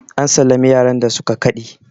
an sallami yaran da suka Kade!